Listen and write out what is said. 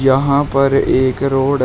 यहां पर एक रोड है।